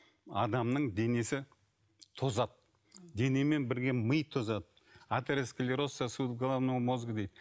адамның денесі тозады денемен бірге ми тозады атеросклероз сосуд головного мозга дейді